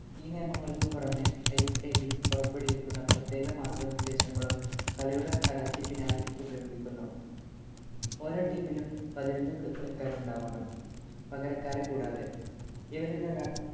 ഈ നിയമങ്ങൾക്കു പുറമേ IFAB പുറപ്പെടുവിക്കുന്ന പ്രത്യേക മാർഗനിർദ്ദേശങ്ങളും കളിയുടെ നടത്തിപ്പിനായി ഉപയോഗിക്കുന്നു. ഓരോ ടീമിലും പതിനൊന്നു കളിക്കാരുണ്ടാവണം, പകരക്കാരെ കൂടാതെ. ഇവരിലൊരാൾ